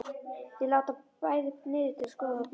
Þau lúta bæði niður til að skoða það betur.